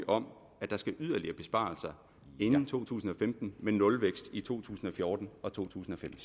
om at der skal være yderligere besparelser inden to tusind og femten men nulvækst i to tusind og fjorten og 2015